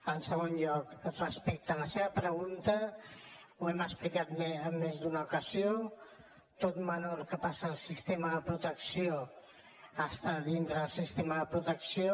en segon lloc respecte a la seva pregunta ho hem explicat en més d’una ocasió tot menor que passa al sistema de protecció a estar dintre del sistema de protecció